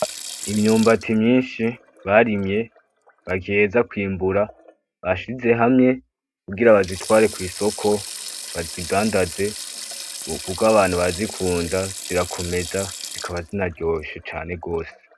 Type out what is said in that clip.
Imyumbati myinshi barimye bagiheza kwimbura, bashize hamwe kugira bayitware kw’isoko , bazidandaze Kuko abantu barazikunda , zirakomeza zikaba zinaryoshe cane gose.